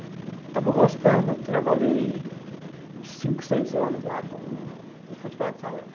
E estava gostando, trabalhei uns cinco, seis anos lá com... Futebol de salão.